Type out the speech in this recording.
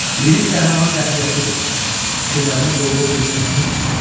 Lirik qəhrəman qətiyyətlidir, fikirlərinin doğru olduğuna əmindir.